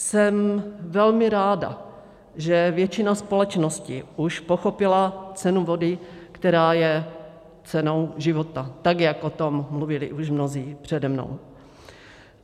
Jsem velmi ráda, že většina společnosti už pochopila cenu vody, která je cenou života, tak jak o tom mluvili již mnozí přede mnou.